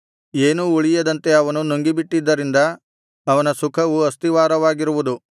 ಏನೂ ಉಳಿಯದಂತೆ ಅವನು ನುಂಗಿಬಿಟ್ಟಿದರಿಂದ ಅವನ ಸುಖವು ಅಸ್ಥಿರವಾಗಿರುವುದು